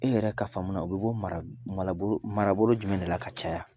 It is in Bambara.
E yɛrɛ ka faamu, u bɛ bɔ marabolo jumɛn de la ka caya?